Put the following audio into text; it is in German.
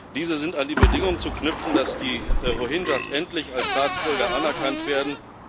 Diese sind an die Bedingung zu knüpfen, dass die Rohingya endlich als Staatsbürger anerkannt werden.